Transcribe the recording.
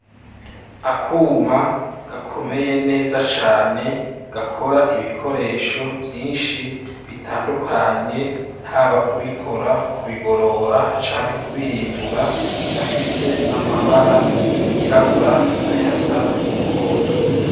Akuma gakomeye neza cane gakora ibikoresho vyinshi bitandukanye haba kubikora kubigorora canke kubihimbura, gafise amabara yirabura n'ayasa n'umuhondo.